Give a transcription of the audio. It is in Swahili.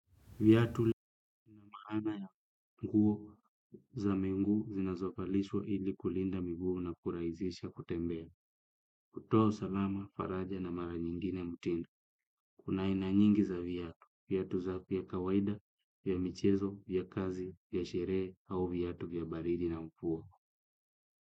Viatu lina maana ya nguo za miguu zinazovalishwa ili kulinda mguu na kuraisisha kutembea. Kutoa usalama, faraja na mara nyingine mtindo. Kuna aina nyingi za viatu, viatu za vya kawaida, ya michezo, ya kazi, ya sherehe, au viatu vya baridi na mfua.